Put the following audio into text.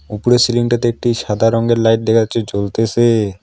ওপরের সিলিং টাতে একটি সাদা রঙের লাইট দেখা যাচ্ছে জ্বলতেসে।